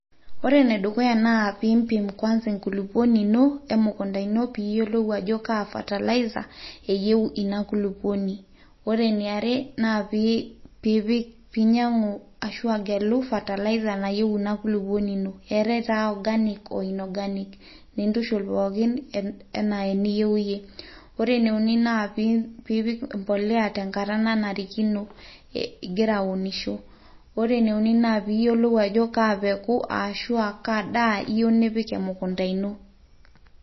ore enedukuya naa pimpim kwanza enkulupuoni ino emukunta ino piiyiolou ajo kaa fertilizer eyieu ina kulupuoni ore eniare naa piipik, piinyiang'u ashu agelu fertilizer nayieu ina kulupuoni ino eetay taa organic o inorganic nintuishul pookin enaa eniyieu iyie ore ene uni naa piipik mbolea tenkata nanarikino igira aunisho ore ene uni naa piiyiolou ajo kaa peku aashu aa kaa daa iyieu nipik emukunta ino.